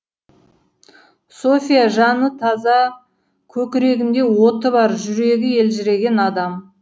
софья жаны таза көкірегінде оты бар жүрегі елжіреген адам